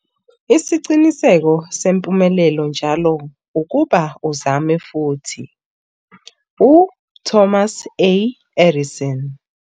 Isiqinseko sempumelelo njalo ukuba ukuzame futhi. - u-Thomas A. Edison